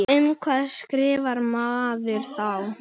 Um hvað skrifar maður þá?